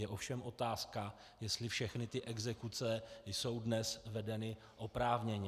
Je ovšem otázka, jestli všechny ty exekuce jsou dnes vedeny oprávněně.